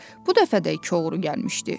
Bu dəfə də iki oğru gəlmişdi.